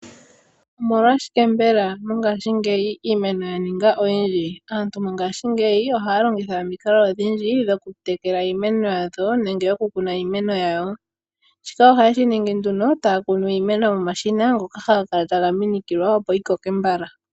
Omolwashike mbela mongashingeyi iimeno ya ninga oyindji? Aantu mongashingeyi ohaya longitha omikalo odhindji dhokutekela iimeno yawo nenge okukuna iimeno yawo. Shika ohaye shi ningi taa kunu iimeno momashina ngoka haga kala taga minikilwa, opo iimeno yi koke mbala.